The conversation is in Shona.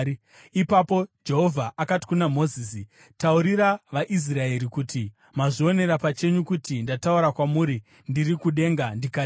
Ipapo Jehovha akati kuna Mozisi, “Taurira vaIsraeri kuti, ‘Mazvionera pachenyu kuti ndataura kwamuri ndiri kudenga ndikati: